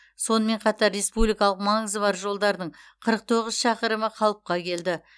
сонымен қатар республикалық маңызы бар жолдардың қырық тоғыз шақырымы қалыпқа келді